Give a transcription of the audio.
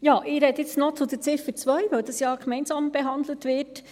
Ich rede jetzt noch zur Ziffer 2, weil dies ja gemeinsam behandelt wird.